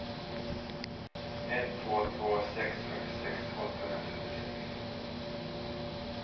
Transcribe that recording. ett två två sex fyrtiosex åttahundratrettiosex